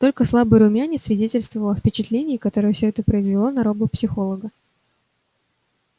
только слабый румянец свидетельствовал о впечатлении которое все это произвело на робопсихолога